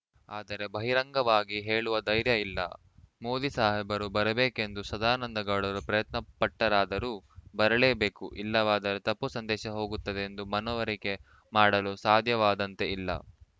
ಆದರೆ ಬಹಿರಂಗವಾಗಿ ಹೇಳುವ ಧೈರ್ಯ ಇಲ್ಲ ಮೋದಿ ಸಾಹೇಬರು ಬರಬೇಕೆಂದು ಸದಾನಂದಗೌಡರು ಪ್ರಯತ್ನ ಪಟ್ಟರಾದರೂ ಬರಲೇಬೇಕು ಇಲ್ಲವಾದರೆ ತಪ್ಪು ಸಂದೇಶ ಹೋಗುತ್ತದೆ ಎದು ಮನವರಿಕೆ ಮಾಡಲು ಸಾಧ್ಯವಾದಂತೆ ಇಲ್ಲ